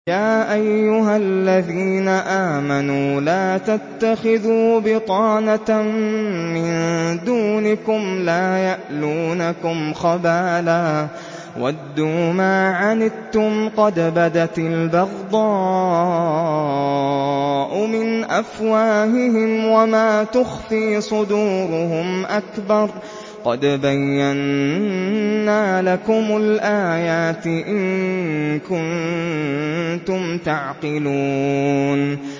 يَا أَيُّهَا الَّذِينَ آمَنُوا لَا تَتَّخِذُوا بِطَانَةً مِّن دُونِكُمْ لَا يَأْلُونَكُمْ خَبَالًا وَدُّوا مَا عَنِتُّمْ قَدْ بَدَتِ الْبَغْضَاءُ مِنْ أَفْوَاهِهِمْ وَمَا تُخْفِي صُدُورُهُمْ أَكْبَرُ ۚ قَدْ بَيَّنَّا لَكُمُ الْآيَاتِ ۖ إِن كُنتُمْ تَعْقِلُونَ